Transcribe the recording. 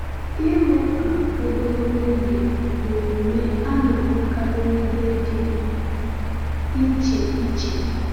Ịrụ ụka ogologo oge bụ omume a na-ahụkarị n’ebe dị iche iche.